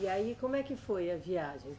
E aí, como é que foi a viagem?